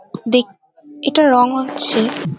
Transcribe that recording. দেক এটা রং হচ্ছে --